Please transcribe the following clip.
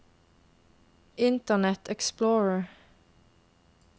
internet explorer